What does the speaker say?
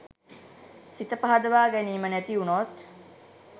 සිත පහදවා ගැනීම නැතිවුණොත්